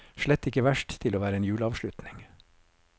Slett ikke verst, til å være en juleavslutning.